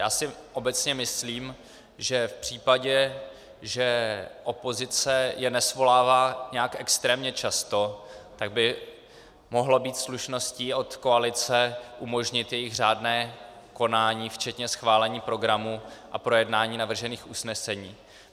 Já si obecně myslím, že v případě, že opozice je nesvolává nějak extrémně často, tak by mohlo být slušností od koalice umožnit jejich řádné konání včetně schválení programu a projednání navržených usnesení.